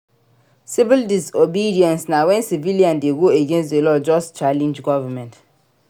Civil disobedience na when civilian de go against the law just challenge government